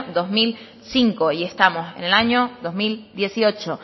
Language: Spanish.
dos mil cinco y estamos en el año dos mil dieciocho